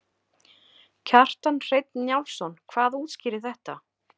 Kjartan Hreinn Njálsson: Hvað útskýrir þetta?